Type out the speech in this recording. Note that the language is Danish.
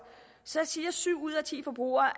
så siger syv ud af ti forbrugere